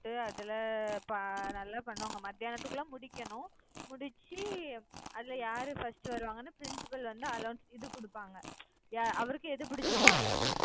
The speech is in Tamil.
நல்லா பண்ணுவாங்க மத்தியானத்துக்குள்ள முடிக்கணும். முடிச்சு அதுல யாரு first வருவாங்கன்னு principal வந்து announce இது குடுப்பாங்க. அவருக்கு எது பிடிச்சிருக்கோ அதுதான்